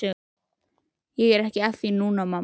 Ég er ekki að því núna, mamma.